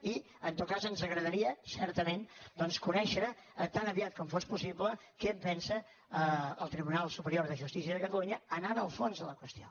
i en tot cas ens agradaria certament doncs conèixer tan aviat com fos possible què en pensa el tribunal superior de justícia de catalunya anant al fons de la qüestió